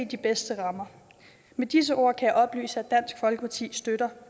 de bedste rammer med disse ord kan jeg oplyse at dansk folkeparti støtter